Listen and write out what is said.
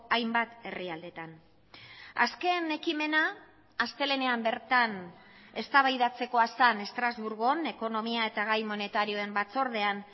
hainbat herrialdeetan azken ekimena astelehenean bertan eztabaidatzekoa zen estrasburgon ekonomia eta gai monetarioen batzordean